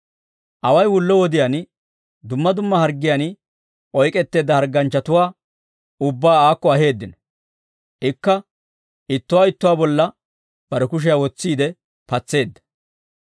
Away wullo wodiyaan dumma dumma harggiyaan oyk'k'etteedda harganchchatuwaa ubbaa aakko aheeddino; ikka ittuwaa ittuwaa bolla bare kushiyaa wotsiide patseedda.